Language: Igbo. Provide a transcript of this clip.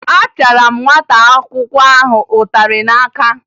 Apịara m nwata akwụkwọ ahụ ịtarị n'aka